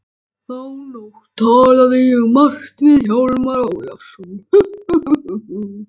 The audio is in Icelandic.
Þá nótt talaði ég margt við Hjálmar Ólafsson.